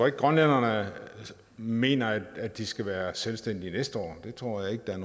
at grønlænderne mener at de skal være selvstændige næste år det tror jeg ikke der er